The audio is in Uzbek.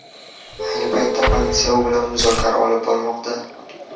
Ayni paytda politsiya u bilan muzokara olib bormoqda.